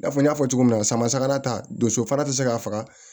I n'a fɔ n y'a fɔ cogo min na samara ta donso fara te se ka faga